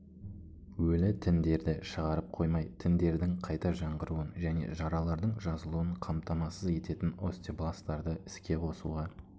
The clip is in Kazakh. өлі тіндерді шығарып қоймай тіндердің қайта жаңғыруын және жаралардың жазылуын қамтамасыз ететін остебластарды іске қосуға